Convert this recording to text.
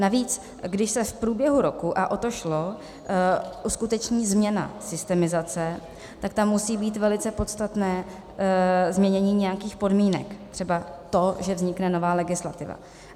Navíc když se v průběhu roku - a o to šlo - uskuteční změna systemizace, tak tam musí být velice podstatné změnění nějakých podmínek, třeba to, že vznikne nová legislativa.